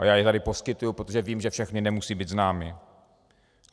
A já je tady poskytuji, protože vím, že všechny nemusí být známy.